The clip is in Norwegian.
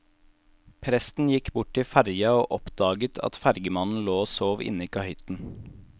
Presten gikk bort til ferga og oppdaga at fergemannen lå og sov inne i kahytten.